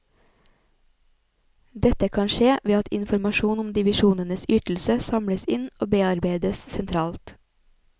Dette kan skje ved at informasjon om divisjonenes ytelse samles inn og bearbeides sentralt.